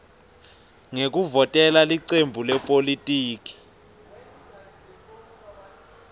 ngekuvotela licembu lepolitiki